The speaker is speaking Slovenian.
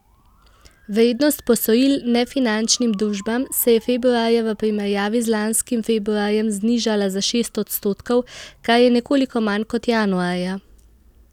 Vrednost posojil nefinančnim družbam se je februarja v primerjavi z lanskim februarjem znižala za šest odstotkov, kar je nekoliko manj kot januarja.